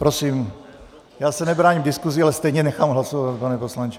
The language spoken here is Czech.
Prosím já se nebráním diskuzi, ale stejně nechám hlasovat, pane poslanče.